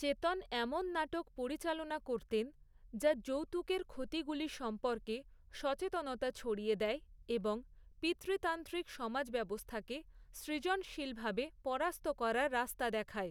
চেতন এমন নাটক পরিচালনা করতেন, যা যৌতুকের ক্ষতিগুলি সম্পর্কে সচেতনতা ছড়িয়ে দেয় এবং পিতৃতান্ত্রিক সমাজব্যবস্থাকে সৃজনশীলভাবে পরাস্ত করার রাস্তা দেখায়।